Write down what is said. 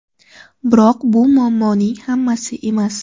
Biroq bu muammoning hammasi emas.